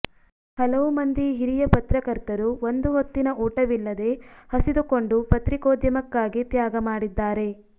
ಹಲವು ಮಂದಿ ಹಿರಿಯ ಪತ್ರಕರ್ತರು ಒಂದು ಹೊತ್ತಿನ ಊಟವಿಲ್ಲದೆ ಹಸಿದು ಕೊಂಡು ಪತ್ರಿಕೋದ್ಯಮಕ್ಕಾಗಿ ತ್ಯಾಗ ಮಾಡಿದ್ದಾರೆ